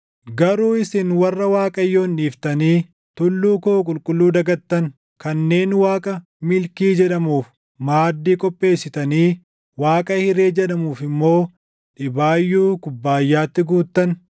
“Garuu isin warra Waaqayyoon dhiiftanii tulluu koo qulqulluu dagattan, kanneen waaqa ‘Milkii’ jedhamuuf // maaddii qopheessitanii, waaqa, ‘Hiree’ jedhamuuf immoo dhibaayyuu kubbaayyaatti guuttan,